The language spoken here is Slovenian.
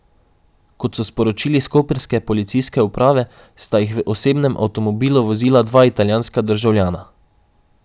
Kot so sporočili s koprske policijske uprave, sta jih v osebnem avtomobilu vozila dva italijanska državljana.